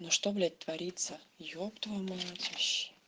ну что блять творится еб твою мать вообще